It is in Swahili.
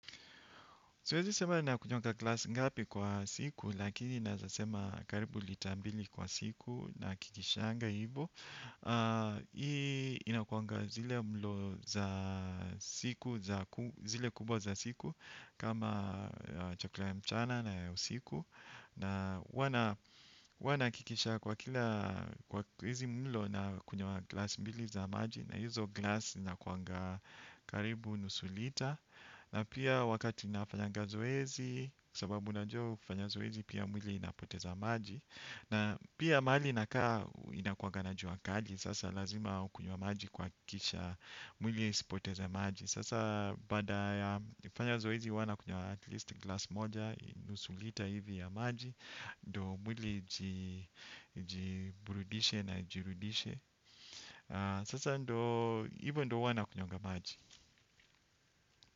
Siwezi sema nakunywanga glass ngapi kwa siku lakini naeza sema karibu lita mbili kwa siku nahakikishanga hivo. Hii inakuanga zile mlo za siku, zile kubwa za siku kama chakuka ya mchana na ya usiku. Na huwa nahakikisha kwa kila kwa hizi mlo nakunywa glass mbili za maji na hizo glass zinakuanga karibu nusu lita. Na pia wakati ninafanyanga zoezi kwa sababu unajua ukifanya zoezi pia mwili inapoteza maji. Na pia mahali nakaa inakuwanga na jua kali. Sasa lazima ukunywe maji kuhakikisha mwili isipoteze maji. Sasa baada ya nikifanya zoezi huwa nakunywa at least glass moja nusu lita hivi ya maji. Ndo mwili ijiburidishe na ijirudishe. Sasa ndo hivyo ndio huwa nakunywanga maji.